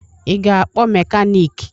Ị ga-akpọ mekaniiki?